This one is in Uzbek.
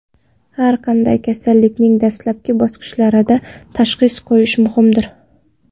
Har qanday kasallikning dastlabki bosqichlarida tashxis qo‘yish muhimdir.